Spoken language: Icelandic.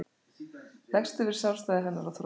Leggst yfir sjálfstæði hennar og þrótt.